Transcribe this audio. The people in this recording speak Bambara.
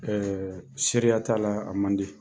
seriya t'a la, a man di.